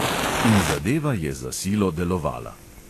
In zadeva je za silo delovala.